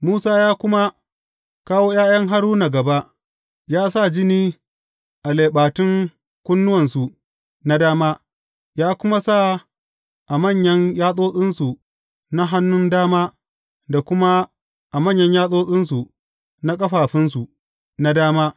Musa ya kuma kawo ’ya’yan Haruna gaba, ya sa jini a leɓatun kunnuwansu na dama, ya kuma sa a manyan yatsotsinsu na hannun dama da kuma a manyan yatsotsinsu na ƙafafunsu na dama.